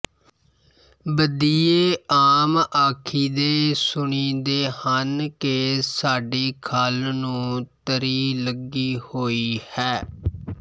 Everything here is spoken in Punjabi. ਬਦੀਏ ਆਮ ਆਖੀਦੇ ਸੁਣੀਂਦੇ ਹਨ ਕਿ ਸਾਡੀ ਖਲ ਨੂੰ ਤਰੀ ਲੱਗੀ ਹੋਈ ਹੈ